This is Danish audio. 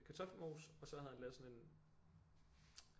Kartoffelmos og så havde han lavet sådan en